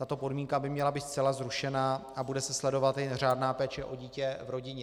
Tato podmínka by měla být zcela zrušena a bude se sledovat jen řádná péče o dítě v rodině.